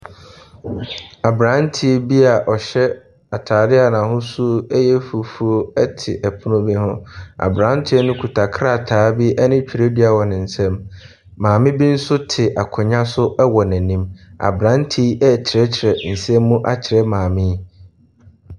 Aberanteɛ bi a ɔhyɛ atadeɛ a n'ahosuo yɛ fufuo te pono no ho. Aberanteɛ no kita krataa bi ne twerɛdua wɔn ne nsam. Maame bi nso te akonnwa so wɔ n'anim. Aberanteɛ yi rekyerɛkyerɛ nsɛm mu akyerɛ maame yi.